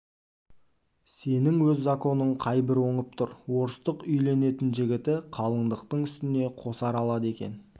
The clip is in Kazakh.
сенің өз законың қай бір оңып тұр орыстық үйленетін жігіті қалыңдықтың үстіне қосар алады екен